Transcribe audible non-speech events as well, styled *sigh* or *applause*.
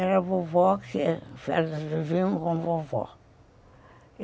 Era vovó que fazia *unintelligible* com vovó.